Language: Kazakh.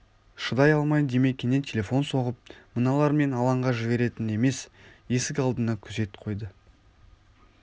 шыдай алмай димекеңе телефон соғып мыналар мен алаңға жіберетін емес есік алдына күзет қойды